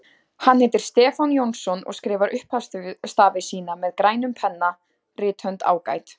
Hann heitir Stefán Jónsson og skrifar upphafsstafi sína með grænum penna, rithönd ágæt.